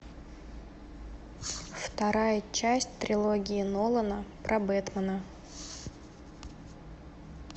вторая часть трилогии нолана про бэтмена